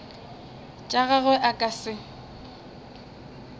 tša gagwe a ka se